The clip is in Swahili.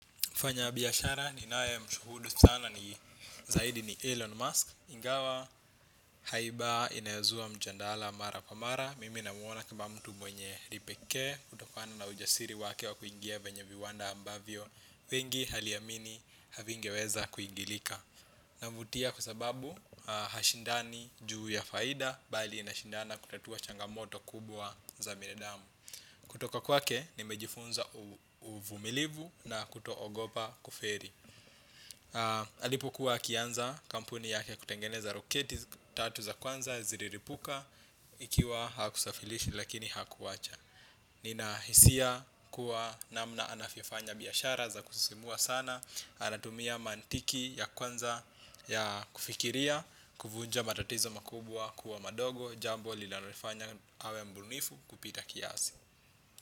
Mfanyabiashara ninayemshuhudu sana ni zaidi ni Elon Musk, ingawa haiba inayozua mjadala mara kwa mara. Mimi namuona kama mtu mwenye kipekee kutokana na ujasiri wake wa kuingia kwenye viwanda ambavyo wengi waliamini havingeweza kuingilika anavutia kwa sababu hashindani juu ya faida bali anashindana kutatua changamoto kubwa za binadamu. Kutoka kwake nimejifunza uvumilivu na kutoogopa kufeli. Alipokuwa akianza kampuni yake kutengeneza roketi tatu za kwanza zililipuka. Ikiwa hakusafilishi lakini hakuwacha. Ninahisia kuwa namna anavyofanya biashara za kusisimua sana, anatumia mantiki ya kwanza ya kufikiria, kuvunja matatizo makubwa kuwa madogo, jambo linalolifanya awe mbunifu kupita kiasi.